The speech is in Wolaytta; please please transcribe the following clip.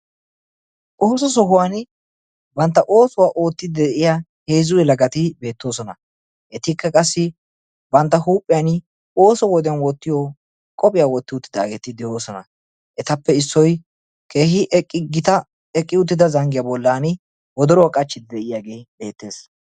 Oosso sohuwaan bantta ossuwaa oottidi de'iyaa heezzu yelagati beettoosona. etikka qassi ooso wode huuphphiyaa wottiyoo qophphiyaa wotti uttidaageti de'oosona. etappe issoy keehi eqqi uttida zanggiyaa bollan wodoruwaa qachchidi de'iyaagee beettees.